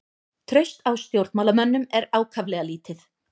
Traust á stjórnmálamönnum er ákaflega lítið